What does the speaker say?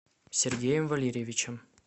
сергеем валерьевичем